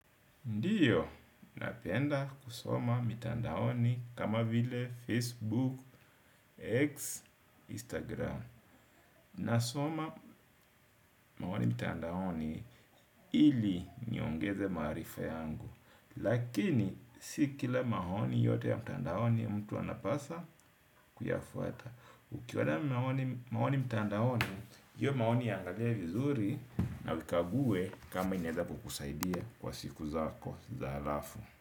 Ndiyo, napenda kusoma mitanda oni kama vile Facebook, X, Instagram. Nasoma maoni mitandaoni ili niongeze maarifa yangu. Lakini, sikila maoni yote ya mtanda oni mtu anapasa kuyafuata. Ukiona maoni mtanda oni, hiyo maoni iyangalie vizuri na uikague kama inaweza kukusaidia kwa siku zakoza alafu.